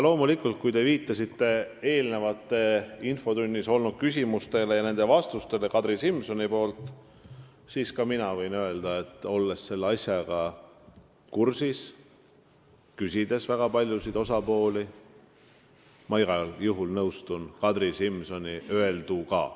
Kui te viitasite infotunnis eelnevalt esitatud küsimustele ja Kadri Simsoni vastustele, siis mina võin öelda, olles selle asjaga kursis ja olles küsitlenud väga paljusid osapooli, et ma igal juhul nõustun Kadri Simsoni öelduga.